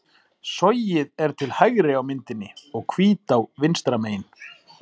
Sogið er til hægri á myndinni og Hvítá vinstra megin.